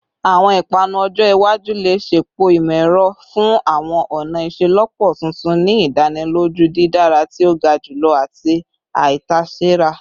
Awọn ipanu ọjọ iwaju le ṣepọ imọ-ẹrọ fun awọn ọna iṣelọpọ tuntun, ni idaniloju didara ti o ga julọ ati aitasera